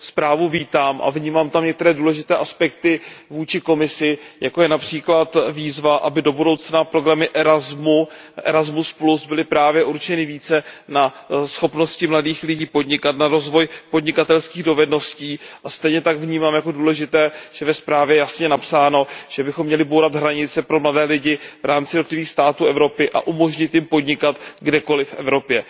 Zprávu vítám a vnímám tam některé důležité aspekty vůči Komisi, jako je například výzva, aby do budoucna programy ERASMUS, ERASMUS byly právě určeny více na schopnosti mladých lidí podnikat, na rozvoj podnikatelských dovedností, a stejně tak vnímám jako důležité, že je ve zprávě jasně napsáno, že bychom měli bourat hranice pro mladé lidi v rámci jednotlivých států Evropy a umožnit jim podnikat kdekoliv v Evropě.